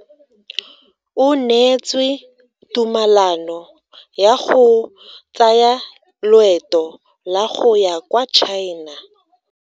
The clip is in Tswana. O neetswe tumalano ya go tsaya loeto la go ya kwa China.